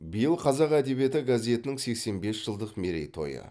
биыл қазақ әдебиеті газетінің сексен бес жылдық мерей тойы